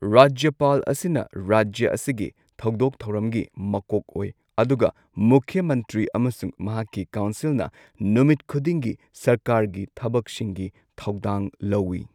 ꯔꯥꯖ꯭ꯌꯄꯥꯜ ꯑꯁꯤꯅ ꯔꯥꯖ꯭ꯌ ꯑꯁꯤꯒꯤ ꯊꯧꯗꯣꯛ ꯊꯧꯔꯝꯒꯤ ꯃꯀꯣꯛ ꯑꯣꯏ, ꯑꯗꯨꯒ ꯃꯨꯈ꯭ꯌ ꯃꯟꯇ꯭ꯔꯤ ꯑꯃꯁꯨꯡ ꯃꯍꯥꯛꯀꯤ ꯀꯥꯎꯟꯁꯤꯜꯅ ꯅꯨꯃꯤꯠ ꯈꯨꯗꯤꯡꯒꯤ ꯁꯔꯀꯥꯔꯒꯤ ꯊꯕꯛꯁꯤꯡꯒꯤ ꯊꯧꯗꯥꯡ ꯂꯧꯏ꯫